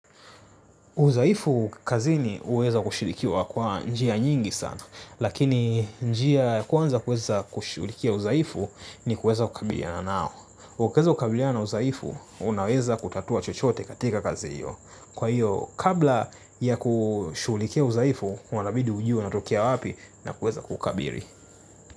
Udhaifu kazini uweza kushurikiwa kwa njia nyingi sana, lakini njia kwanza kushughulikia udhaifu ni kueza kukabiliana nao. Ukiweza kukabiliana udhaifu, unaweza kutatua chochote katika kazi hiyo. Kwa hiyo, kabla ya kushughulikia udhaifu, wanabidi kujua unatokea wapi na kueza kuukabili.